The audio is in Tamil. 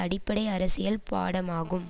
அடிப்படை அரசியல் பாடமாகும்